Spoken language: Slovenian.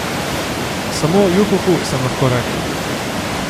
Samo juhuhu sem lahko rekla.